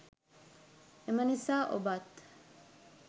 එම නිසා ඔබත්